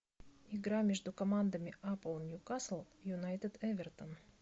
игра между командами апл ньюкасл юнайтед эвертон